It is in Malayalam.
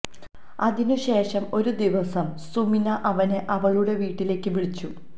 അതിനു ശേഷം ഒരു ദിവസം സുമിന അവനെ അവളുടെ വീട്ടിലേക്ക് വിളിച്ചു